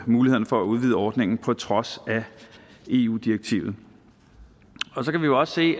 mulighederne for at udvide ordningen på trods af eu direktivet så kan vi jo også se